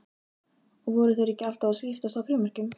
Og voru þeir ekki alltaf að skiptast á frímerkjum?